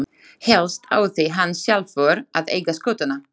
Helst átti hann sjálfur að eiga skútuna.